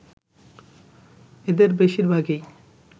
এদের বেশিরভাগই